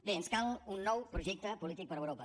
bé ens cal un nou projecte polític per a europa